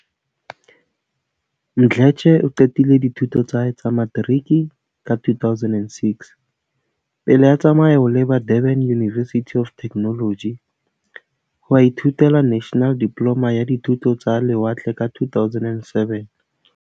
Mdletshe o qetile dithuto tsa hae tsa materiki ka 2006, pele a tsamaya ho leba Durban University of Techno logy ho a ithutela National Diploma ya Dithuto tsa Le watle ka 2007.